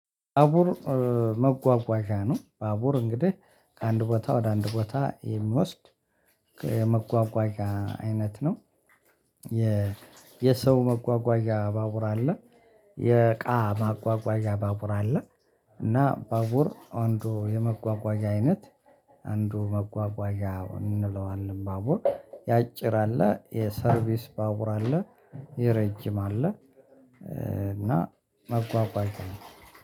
ባቡር መጓጓዣ ነው ባቡር እንግዲህ ከአንድ ቦታ ወደ አንድ ቦታ የሚወስድ መጓጓዣ አይነት ነው። የሰው መጓጓዣ ባቡር አለ። የእቃ ማጓጓዣ ባቡር አለ። እና ባቡር አንዱ የመጓጓዣ አይነት አንዱ መጓጓዣ እንለዋለን ባቡር ያጭር አለ የሰርቪስ ባቡር አለ። የረጅም አለ እና መጓጓዣ ነው